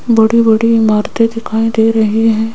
बड़ी बड़ी इमारतें दिखाई दे रहे हैं।